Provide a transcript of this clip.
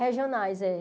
Regionais eh.